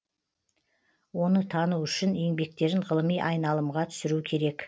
оны тану үшін еңбектерін ғылыми айналымға түсіру керек